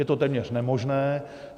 Je to téměř nemožné.